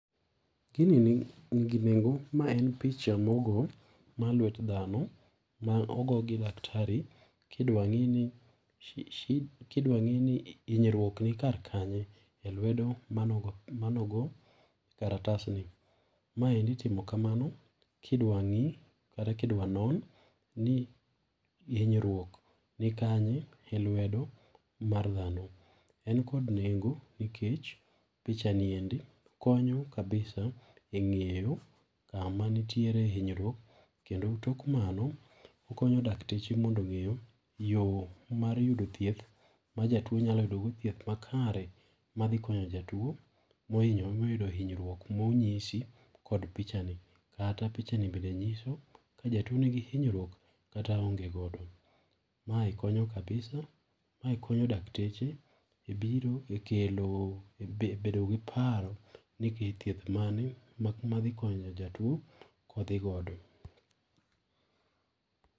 Gini ni gi nengo ma en picha ma ogo ma lwet dhano ma ogo gi daktari kidwa ng'i ni kidwa ng'i ni inyruok ni kar kanye e lwedo ma nogo e kalatasni. Ma endi itimo kamano ka idwa ng'i kata kidwa non ni inyruok ni kanye e lwedo mar dhano. En kod nengo nikech picha ni endi konyo kabisa e ng'iyo kama nitiere inyruok kendo tok mano okonyo dakteche mondo ong'e yo mar yudo thieth ma jatuo nyalo yudo go thieth ma kare ma dhi konyo jatuo ma oyudo hinyruok ma oyinsi kod pichani kata pichani bende ng'iso ka jatuo ni gi hinyruok kata onge go ma konyo kabisa ma konyo dakteche e kelo ebedo gi paro ni thieth mane mak ma dhi konyo jatuo kodhi godo.